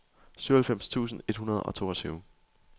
syvoghalvfems tusind et hundrede og toogtyve